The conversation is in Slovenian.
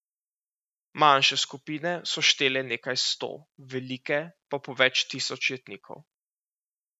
Manjše skupine so štele nekaj sto, velike pa po več tisoč jetnikov.